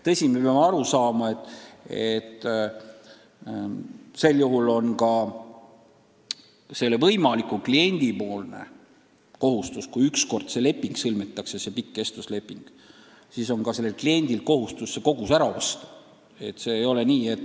Tõsi, me peame aru saama, et kui see pikk kestvusleping on ükskord sõlmitud, siis on võimalik klient kohustatud selle koguse ära ostma.